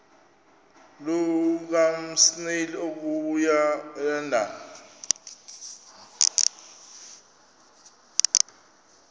lukasnail okuya elondon